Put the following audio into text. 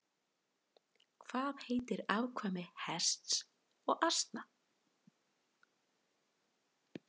Hvað heitir afkvæmi hests og asna?